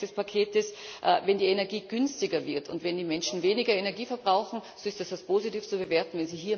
Zweiter Punkt des Paketes Wenn die Energie günstiger wird und wenn die Menschen weniger Energie verbrauchen, so ist das positiv zu bewerten.